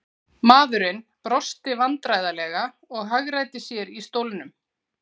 Maðurinn brosti vandræðalega og hagræddi sér í stólnum.